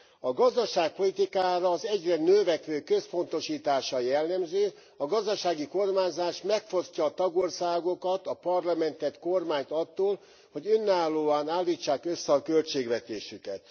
A gazdaságpolitikára az egyre növekvő központosítás a jellemző, a gazdasági kormányzás megfosztja a tagországokat, a Parlamentet, kormányt attól, hogy önállóan állítsák össze a költségvetésüket.